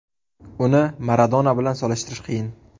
Uni Maradona bilan solishtirish qiyin.